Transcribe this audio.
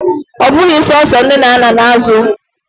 Ọ bụghị sọsọ nne na nna na-azụ ụmụ.